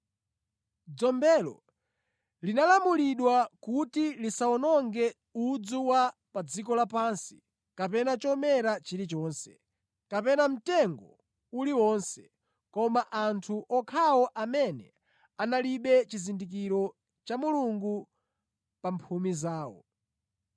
Dzombelo linalamulidwa kuti lisawononge udzu wa pa dziko lapansi, kapena chomera chilichonse, kapena mtengo uliwonse, koma anthu okhawo amene analibe chizindikiro cha Mulungu pa mphumi zawo.